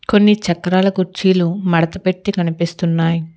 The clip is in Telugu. కొన్ని చక్రాల కుర్చీలు మడత పెట్టి కనిపిస్తున్నాయ్.